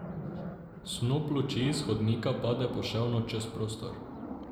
Snop luči iz hodnika pada poševno čez prostor.